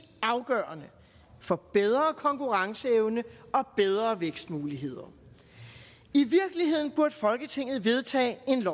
afgørende for bedre konkurrenceevne og bedre vækstmuligheder i virkeligheden burde folketinget vedtage et